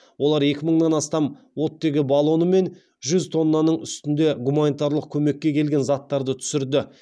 олар екі мыңнан астам оттегі баллоны мен жүз тоннаның үстінде гуманитарлық көмекке келген заттарды түсірді